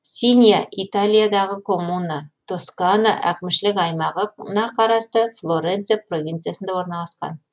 синья италиядағы коммуна тоскана әкімшілік аймағы на қарасты флоренция провинциясында орналасқан